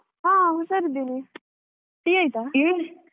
ಹಾ ಹುಷಾರಿದ್ದೇನೆ Tea ಆಯ್ತಾ .